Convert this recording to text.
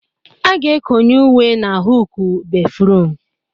A ga-ekonye uwe n'hụukụ béfrụm.